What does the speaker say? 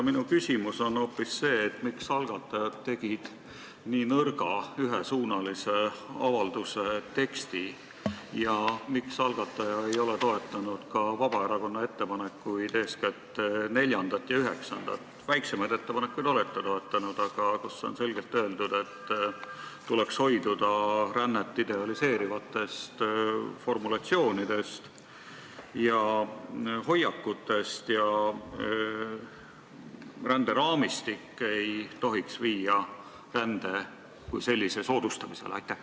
Minu küsimus on hoopis selline: miks tegid algatajad nii nõrga ühesuunalise avalduse teksti ja miks ei ole algataja toetanud Vabaerakonna ettepanekuid, eeskätt neljandat ja üheksandat ettepanekut , kus on selgelt öeldud, et tuleks hoiduda rännet idealiseerivatest formulatsioonidest ja hoiakutest ning ränderaamistik ei tohiks viia rände kui sellise soodustamisele?